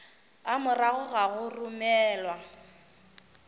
a morago ga go romelwa